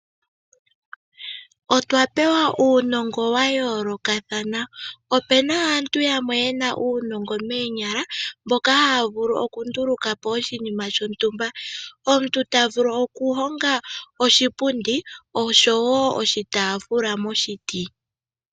Otwa pewa uunongo wayoolokathana opena aantu yamwe yena uunongo moonyala mboka haavulu oku ndulukapo oshinima shontumba omuntu tavulu okuhonga oshipundi osho woo oshitaafula moshiti.